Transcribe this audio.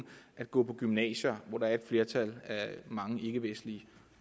at gå på gymnasier hvor der er et flertal af mange ikkevestlige